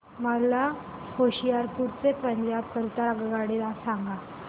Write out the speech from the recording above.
मला होशियारपुर ते पंजाब करीता आगगाडी सांगा